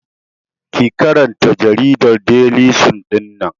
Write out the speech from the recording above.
Ki karanta jaridar Deli sun ɗinnan!